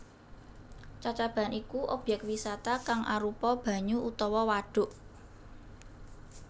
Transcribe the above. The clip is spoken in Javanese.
Cacaban iku obyek wisata kang arupa banyu utawa wadhuk